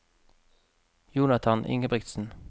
Jonathan Ingebrigtsen